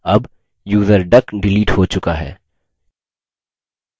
अब user duck delete हो चुका है